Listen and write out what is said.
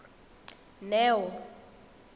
neo